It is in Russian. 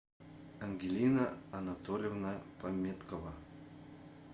ангелина анатольевна пометкова